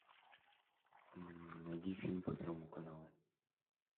найди фильм по первому каналу